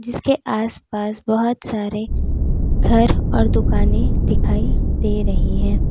इसके आस पास बहोत सारे घर और दुकाने दिखाई दे रही है।